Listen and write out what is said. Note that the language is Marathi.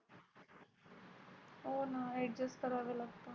हो ना Adjust करावे लागत.